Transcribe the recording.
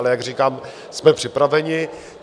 Ale jak říkám, jsme připraveni.